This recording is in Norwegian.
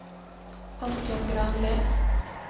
Anton Granli